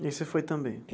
E você foi também?